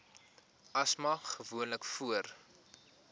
asma gewoonlik voor